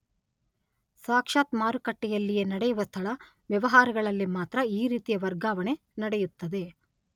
ಸಾಕ್ಷಾತ್ ಮಾರುಕಟ್ಟೆಯಲ್ಲಿಯೇ ನಡೆಯುವ ಸ್ಥಳ ವ್ಯವಹಾರಗಳಲ್ಲಿ ಮಾತ್ರ ಈ ರೀತಿಯ ವರ್ಗಾವಣೆ ನಡೆಯುತ್ತದೆ.